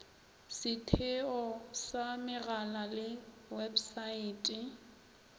setheo sa megala le websaete